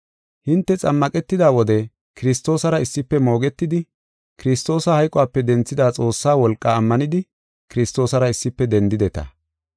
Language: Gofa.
Hinte xammaqetida wode Kiristoosara issife moogetidi, Kiristoosa hayqope denthida Xoossaa wolqaa ammanidi, Kiristoosara issife dendideta.